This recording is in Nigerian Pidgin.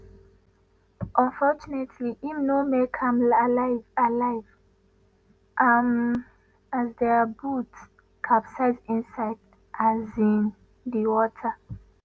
unfortunately im no make am alive alive um as dia boat capsize inside um di water.